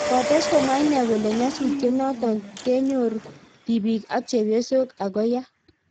Kotes komwa inee kole nyasutiet notok konyere tibik ak chepyosok Ako ya.